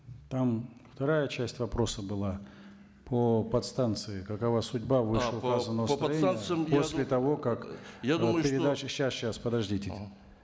там вторая часть вопроса была по подстанции какова судьба подождите